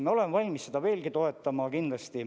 Me oleme valmis seda kindlasti veelgi toetama.